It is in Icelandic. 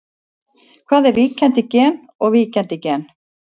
Hvað er ríkjandi gen og víkjandi gen?